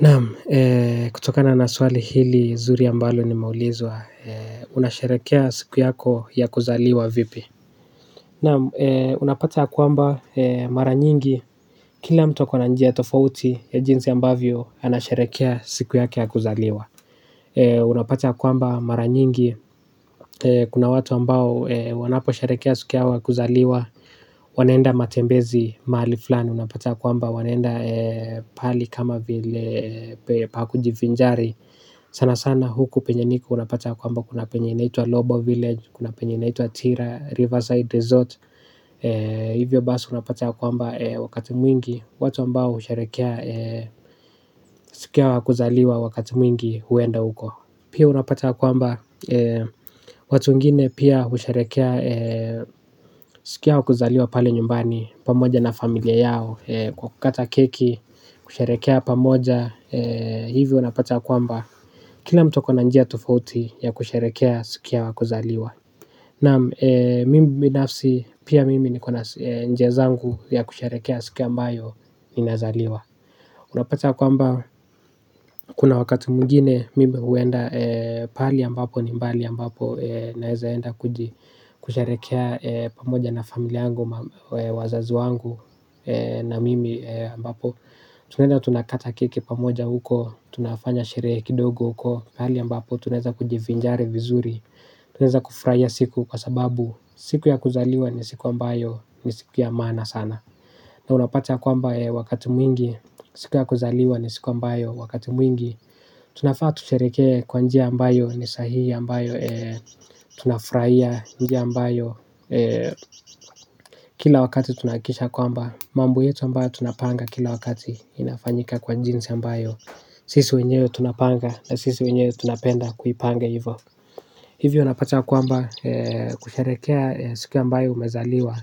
Naam, kutokana na swali hili zuri ambalo nimeulizwa, unasharekea siku yako ya kuzaliwa vipi. Naam, unapata kwamba mara nyingi, kila mtu ako na njia tofauti ya jinsi ambavyo, anasharekea siku yake ya kuzaliwa. Unapata kuamba mara nyingi, kuna watu ambao wanaposherekea siku yao ya kuzaliwa, wanaenda matembezi mahali flani unapata kwamba wanaenda pahali kama vile pakuji vinjari sana sana huku penye niko unapata kwamba kuna penye inaitua Lobo Village kuna penye inaitua Tira, Riverside Desert hivyo basi unapata kwamba wakati mwingi watu ambao usherekea siku yao ya kuzaliwa wakati mwingi huenda huko pia unapata kwamba watu wengine pia usherekea siku yao ya kuzaliwa pale nyumbani pamoja na familia yao kukata keki kusherekea pamoja hivi unapata kwamba kila mtu akona njia tofauti ya kusherekea siku yao ya kuzaliwa naam mimi binafsi pia mimi nko na njia zangu ya kusherekea siku ambayo ni nazaliwa unapata kwamba kuna wakati mwingine mimi huenda pahali ambapo ni mbali ambapo naeza enda kusherekea pamoja na familia yangu wazazi wangu na mimi ambapo tunaenda tunakata keki pamoja huko, tunafanya sherehe kidogo huko. Mahali ambapo, tunaeza kujivinjari vizuri. Tunaeza kufurahia siku kwa sababu, siku ya kuzaliwa ni siku ambayo ni siku ya maana sana. Na unapata kwamba wakati mwingi, siku ya kuzaliwa ni siku ambayo wakati mwingi. Tunagaa tusherekee kwa njia ambayo ni sahihi ambayo. Tuna furahia njia ambayo kila wakati tunahakikisha kwamba. Mambo yetu ambayo tunapanga kila wakati inafanyika kwa jinsi ambayo. Sisi wenyewe tunapanda sisi wenyewe tunapenda kuipanga hivyo. Hivyo unapata kwamba kusherekea siku ambayo umezaliwa.